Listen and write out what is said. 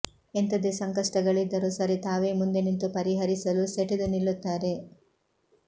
ಎಂಥದೇ ಸಂಕಷ್ಟಗಳಿದ್ದರೂ ಸರಿ ತಾವೇ ಮುಂದೆ ನಿಂತು ಪರಿಹರಿಸಲು ಸೆಟೆದು ನಿಲ್ಲುತ್ತಾರೆ